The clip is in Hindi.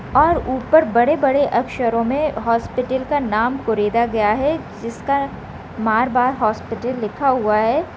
और ऊपर बडे बडे अक्षरों में हॉस्पिटल का नाम कुरेदा गया है जिसका मारवार हॉस्पिटल लिखा हुआ है।